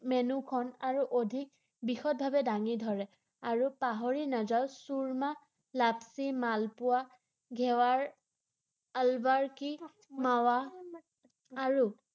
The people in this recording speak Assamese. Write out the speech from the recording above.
মেনুখন অধিক বিশদভাৱে দাঙি ধৰে আৰু পাহৰি নাযাওক চুৰ্মা, লাচ্ছি, মালপোৱা, ঘেৱাৰ, আলবাৰ কি মাৱা আৰু